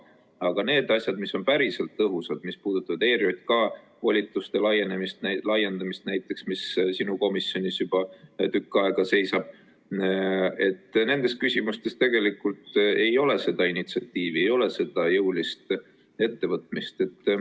Aga need asjad, mis on päriselt tõhusad, mis puudutavad näiteks ERJK volituste laiendamist, mis sinu komisjonis juba tükk aega seisab – nendes küsimustes tegelikult ei ole initsiatiivi, ei ole jõulist ettevõtmist.